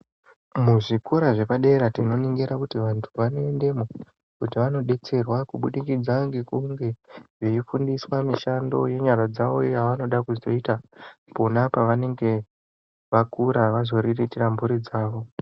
Muzvikora zvepadera tinoningira kuti vantu vanoendamo kuti vandodetserwa kubudikidza ngekunge veifundiswa mishando yenyara dzawo yavanoda kuzoita pona pavanenge vakura vazoriritira mburi dzawo.